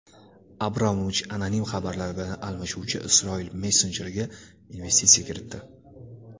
Abramovich anonim xabarlar bilan almashuvchi Isroil messenjeriga investitsiya kiritdi.